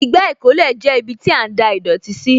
Igbá ìkólẹ̀ jẹ́ ibiti a ń da ìdọ̀tí sí